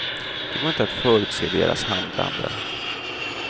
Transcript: Det går inte att förutse deras handlande.